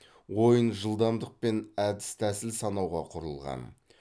ойын жылдамдық пен әдіс тәсіл санауға құрылған